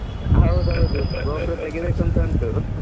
ಹೌದೌದು ತೆಗೀಬೇಕು ಅಂತ ಉಂಟು.